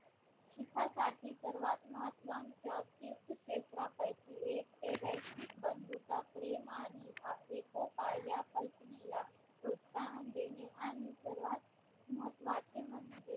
शिखासाठी सर्वात महत्त्वांच्या तीर्थ क्षेत्रापैकी एक ते वैसस्विक बंधुता प्रेम आणि एकोपा या कल्पनेला प्रोत्साहन देणे आणि सर्वात महत्त्वाचे म्हणजे